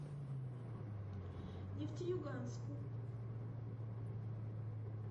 нефтеюганску